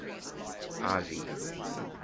ivy